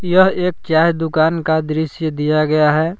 यह एक चाय दुकान का दृश्य दिया गया है।